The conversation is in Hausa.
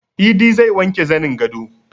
Idi zai wanke zanin gado